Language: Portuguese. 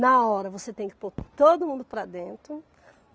Na hora, você tem que pôr todo mundo para dentro.